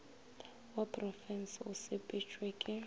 wa porofensi o sepetšwe ke